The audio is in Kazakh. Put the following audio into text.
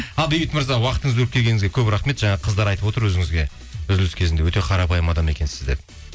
ал бейбіт мырза уақытыңызды бөліп келгеніңізге көп рахмет жаңа қыздар айтып отыр өзіңізге үзіліс кезінде өте қарапайым адам екенсіз деп